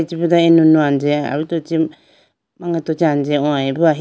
chibudo anono anjeya aruto chee angeto chee anje hoyibo ahi.